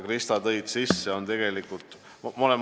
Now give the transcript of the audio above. Krista, sa tõid sisse mullateaduste teema.